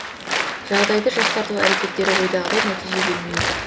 жағдайды жақсарту әрекеттері ойдағыдай нәтиже бермей отыр